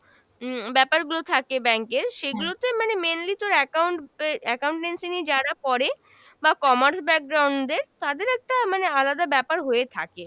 উম ব্যাপারগুলো থাকে bank এর সেগুলো তে মানে mainly তোর account এ accountancy নিয়ে যারা পড়ে বা commerce দের তাদের একটা মানে আলাদা ব্যাপার হয়ে থাকে।